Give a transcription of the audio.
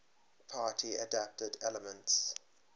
party adapted elements